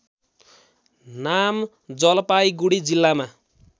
नाम जलपाईगुडी जिल्लामा